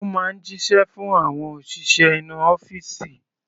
Ó máa ń jíṣẹ́ fún àwọn òṣìṣẹ́ inú ọ́fìsì.